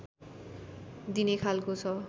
दिने खालको छ